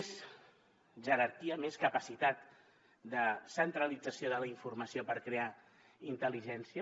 més jerarquia més capacitat de centralització de la informació per crear intel·ligència